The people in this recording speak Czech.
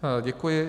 Děkuji.